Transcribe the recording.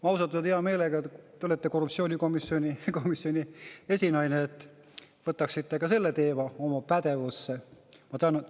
Ma ausalt öelda hea meelega – te olete korruptsioonikomisjoni esinaine –, et te võtaksite ka selle teema oma pädevusse.